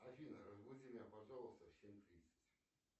афина разбуди меня пожалуйста в семь тридцать